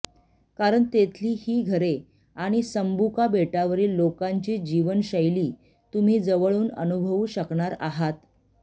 कारण तेथली ही घरे आणि संबुका बेटावरील लोकांची जीवनशैली तुम्ही जवळून अनुभवू शकणार आहात